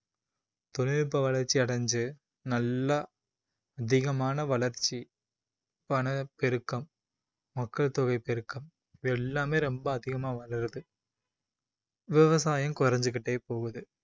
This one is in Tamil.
தொழில்நுட்ப வளர்ச்சி அடைஞ்சு நல்லா அதிகமான வளர்ச்சி, பணப்பெருக்கம், மக்கள் தொகை பெருக்கம் இது எல்லாமே ரொம்ப அதிகமா வளருது, விவசாயம் குறஞ்சுக்கிட்டே போகுது